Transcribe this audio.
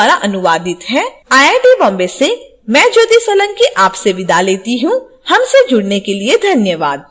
यह स्क्रिप्ट विकास द्वारा अनुवादित है आई आई टी बॉम्बे से मैं ज्योति सोलंकी आपसे विदा लेती हूँ हमसे जुड़ने के लिए धन्यवाद